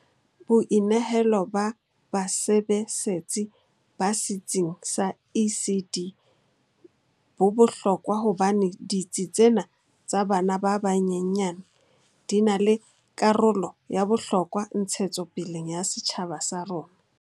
Boinehelo ba basebesetsi ba setsing sa ECD bo bohlokwa hobane ditsi tsena tsa bana ba banyenyane di na le karolo ya bohlokwa ntshetsopeleng ya setjhaba sa rona.